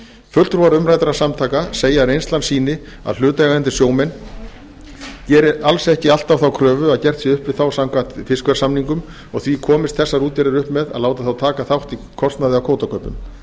fulltrúar umræddra samtaka segja að reynslan sýni að hlutaðeigandi sjómenn geri alls ekki alltaf þá kröfu að gert sé upp við þá samkvæmt fiskverðssamningum og því komist þessar útgerðir upp með að láta þá taka þátt í kostnaði og kvótakaupum